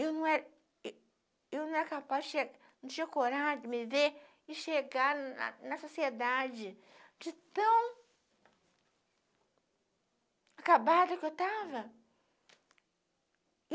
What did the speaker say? Eu não era ê eu não era capaz não tinha não tinha coragem de me ver e chegar na na sociedade de tão acabada que eu estava.